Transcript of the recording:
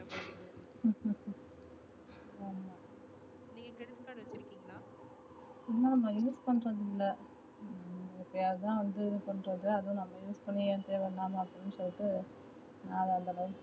ஆமா நா use பண்றது இல்ல எப்பையாவது இதுபன்றது அதுவு நம்ம use பண்ணி சொல்லிட்டு